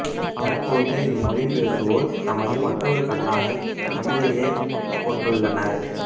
தற்போது இம் மொழி பேசுவோர் தமது மற்றொரு கண்ணாகத் தமிழையே கொண்டுள்ளனர்